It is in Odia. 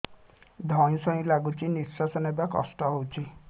ଧଇଁ ସଇଁ ଲାଗୁଛି ନିଃଶ୍ୱାସ ନବା କଷ୍ଟ ହଉଚି